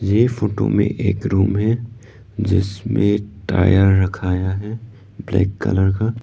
एक फोटो में एक रूम है जिसमें टायर रखाया है ब्लैक कलर का।